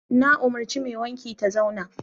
Na umarci mai wanki ta zauna!